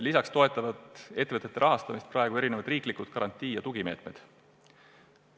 Lisaks toetavad ettevõtete rahastamist praegu mitmesugused riiklikud garantii- ja tugimeetmed.